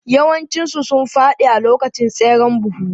Yawancinsu sun fadi a lokacin tseren buhu.